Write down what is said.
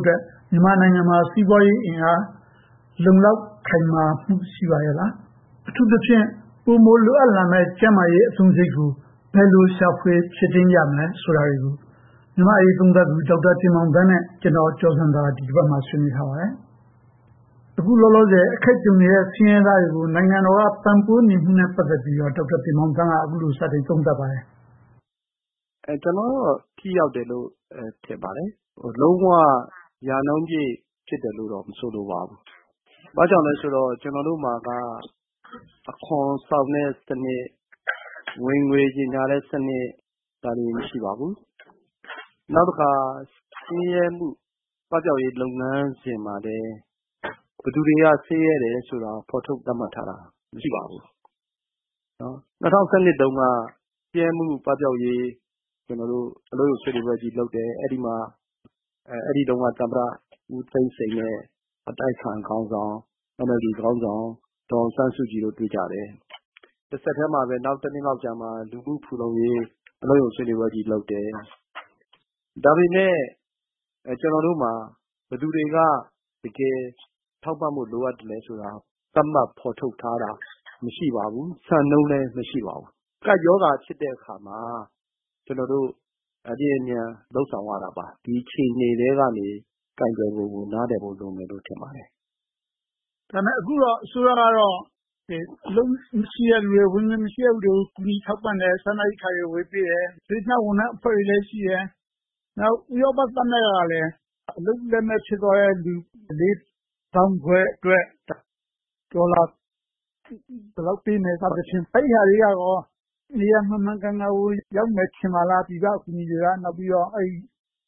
အတွက် မြန်မာနိုင်ငံမှာ စီးပွါးရေးအင်အား အလုံအလောက် ရှိပါရဲ့လား၊ ကျန်းမာရေး အသုံးစရိတ် ပိုမိုရှိအောင် ဘယ်လို လုပ်ဆောင်သင့်သလဲ စတာတွေကို မြန်မာ့အရေးသုံးသပ်သူ ဒေါက်တာတင်မောင်သန်းနဲ့ ဦးကျော်ဇံသာတို့ ဆွေးနွေးထားပါတယ်။ လောလောဆယ် အခက်ကြုံနေရတဲ့ ဆင်းရဲသားတွေကို ကူညီပံ့ပိုးမှုတွေကော ဘယ်လောက် ထိရောက်သလဲဆိုတာကို ဒေါက်တာတင်မောင်သန်း က အခုလို စပြောပါတယ်။ ဖြေ ။ ။ ကျနော်ကတော့ ထိရောက်တယ်လို့ ထင်ပါတယ်။ လုံးဝရာနှုန်းပြည့် ဖြစ်တယ်လို့တော့ မထင်ပါဘူး။ ဘာကြောင့်လဲဆိုတော့ ကျနော်တို့မှာက အခွန်ဆောင်တဲ့စနစ်၊ ဝင်ငွေကြေညာတဲ့စနစ်တွေ မရှိပါဘူး။ နောက်တခါ ဆင်းရဲမှုပပျောက်ရေး လုပ်ငန်းစဉ်မှာလဲ ဘယ်သူတွေက ဆင်းရဲတယ်ဆိုတာကို ဖော်ထုတ်သတ်မှတ်ထားတာ မရှိပါဘူး။ ၂၀၁၂ တုန်းက ဆင်းရဲမှုပပျောက်ရေး ဆွေးနွေးပွဲကြီးလုပ်တယ်။ အဲဒီတုန်းက သမ္မတဦးသိန်းစိန်နဲ့ အတိုက်အခံခေါင်းဆောင်၊ NLD ခေါင်းဆောင် ဒေါ်အောင်ဆန်းစုကြည်တို့ တွေ့ကြတယ်။ တဆက်တည်းမှာပဲ နောက်တနှစ်လောက်ကြာမှာ လူမှု့ဖူလုံရေး အလုပ်ရုံဆွေးနွေးပွဲကြီး လုပ်တယ်။ ဒါပေမဲ့ ကျနော်တို့မှာ ဘယ်သူတွေက တကယ်ထောက်ပံ့မှု လိုအပ်သလဲဆိုတာ သတ်မှတ်ဖော်ထုတ်ထားတာ မရှိပါဘူး။ စံနှုန်းလည်း မရှိပါဘူး။ ကပ်ရောဂါဖြစ်တဲ့အခါမှာ အလျင်အမြန် လုပ်ဆောင်ရတာပါ။ ဒီအခြေအနေထဲကနေ ကိုင်တွယ်ပုံကို နားလည်ဖို့ လိုမယ်လို့ ထင်ပါတယ်။ မေး ။ ။ ဒါပေမဲ့ အခုကတော့ အစိုးရက အလုပ်မရှိတဲ့လူတွေ၊ ဝင်ငွေမရှိတဲ့ လူတွေကို ကူညီထောက်ပံ့တယ်။ စားနပ်ရိက္ခာတွေ ဝေပေးတယ်။ စေတနာဝန်ထမ်းအဖွဲ့တွေလည်း ရှိတယ်။ နောက် ဥရောပသမဂ္ဂကလည်း အလုပ်လက်မဲ့ဖြစ်သွားတဲ့ လူ သောင်းခွဲအတွက် ဒေါ်လာဘယ်လောက်ပေးမယ် စသဖြင့် အဲဒါတွေကရော နေရာမှန်မှန်ကန်ကန်ကို ရောက်မယ်ထင်ပါသလား။ ပြည်ပအကူအညီတွေနဲ့